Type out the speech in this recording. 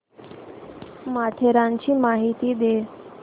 माथेरानची माहिती दे